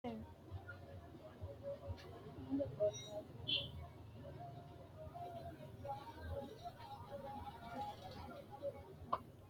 Baadi xagga uyiitanno addi addi horo maati baadi xagga loonsanibu mayiiniti ise afantanno base hiitoote tini xagga ba'anokki gede massa hasiisanonke